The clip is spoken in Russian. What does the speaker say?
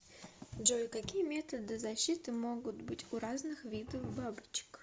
джой какие методы защиты могут быть у разных видов бабочек